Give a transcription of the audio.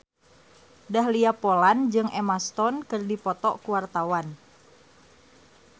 Dahlia Poland jeung Emma Stone keur dipoto ku wartawan